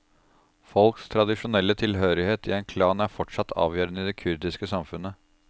Folks tradisjonelle tilhørighet i en klan er fortsatt avgjørende i det kurdiske samfunnet.